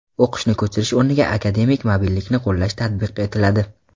O‘qishni ko‘chirish o‘rniga akademik mobillikni qo‘llash tatbiq etiladi.